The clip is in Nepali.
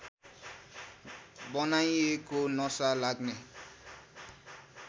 बनाइएको नशा लाग्ने